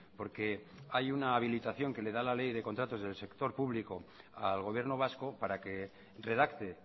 porque hay una habilitación que le da la ley de contratos del sector público al gobierno vasco para que redacte